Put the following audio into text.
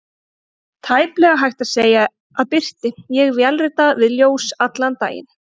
Tæplega hægt að segja að birti: ég vélrita við ljós allan daginn.